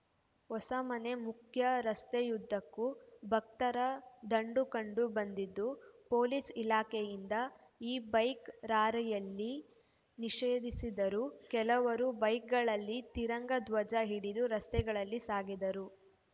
ಹೊಸಮನೆ ಮುಖ್ಯ ರಸ್ತೆಯುದ್ಧಕ್ಕೂ ಭಕ್ತರ ದಂಡು ಕಂಡು ಬಂದಿದ್ದು ಪೊಲೀಸ್‌ ಇಲಾಖೆಯಿಂದ ಈ ಬೈಕ್‌ ರಾರ‍ಯಲಿ ನಿಷೇಧಿಸಿದ್ದರೂ ಕೆಲವರು ಬೈಕ್‌ಗಳಲ್ಲಿ ತಿರಂಗ ಧ್ವಜ ಹಿಡಿದು ರಸ್ತೆಗಳಲ್ಲಿ ಸಾಗಿದರು